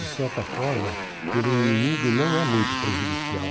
De certa forma, ter um inimigo não é muito prejudicial.